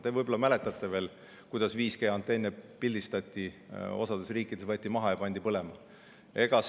Te võib-olla mäletate veel, kuidas 5G-antenne pildistati, osas riikides maha võeti ja põlema pandi.